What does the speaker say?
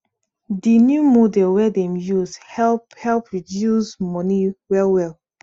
di new model wey dem use help help reduce money well well